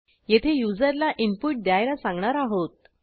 येथे युजरला इनपुट द्यायला सांगणार आहोत